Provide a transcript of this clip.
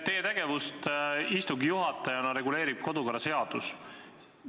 Teie tegevust istungi juhatajana reguleerib kodukorraseadus.